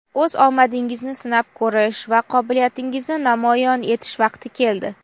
o‘z omadingizni sinab ko‘rish va qobiliyatingizni namoyon etish vaqti keldi!.